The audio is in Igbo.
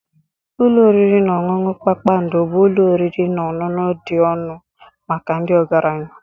Ụlọ oriri na ọṅụṅụ kpakpando bụ ụlọ oriri na ọṅụṅụ dị ọnụ maka ndị ọgaranya.